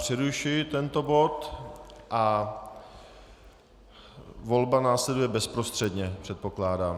Přerušuji tento bod a volba následuje bezprostředně, předpokládám.